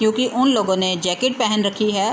क्युकी उन लोगो ने जैकेट पेहेन रखी है।